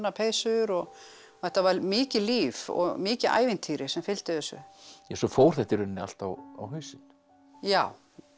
peysur og þetta var mikið líf og mikið ævintýri sem fylgdi þessu svo fór þetta í rauninni allt á hausinn já